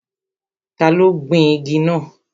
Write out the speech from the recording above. Ta ló gbin igi náà?